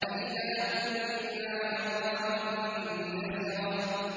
أَإِذَا كُنَّا عِظَامًا نَّخِرَةً